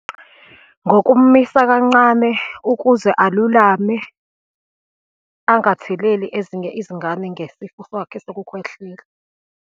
Ngokumisa kancane ukuze alulame, angatheleli ezinye izingane ngesifo sakhe sokukhwehlela.